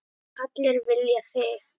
Allir vilja þig.